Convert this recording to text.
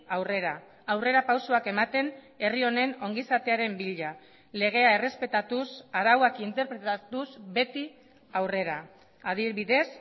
aurrera aurrerapausoak ematen herri honen ongizatearen bila legea errespetatuz arauak interpretatuz beti aurrera adibidez